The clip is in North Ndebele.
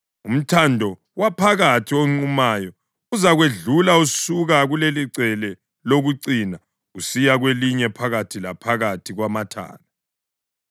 Umthando waphakathi onqumayo uzakwedlula usuka kulelicele lokucina usiyacina kwelinye phakathi laphakathi kwamathala.